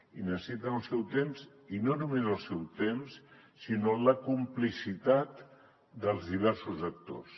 i necessiten el seu temps i no només el seu temps sinó la complicitat dels diversos actors